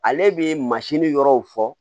Ale bɛ yɔrɔw fɔ